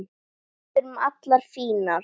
Við erum allar fínar